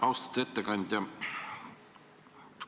Austatud ettekandja!